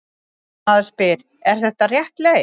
Maður spyr: Er þetta rétt leið?